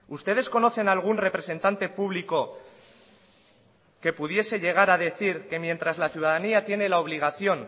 ustedes conocen algún representante público que pudiese llegar a decir que mientras la ciudadanía tiene la obligación